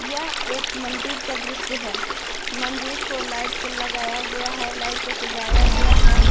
यह एक मंदिर का दृश्य है मंदिर को लाइट से लगाया गया है लाइट से सजाया गया है।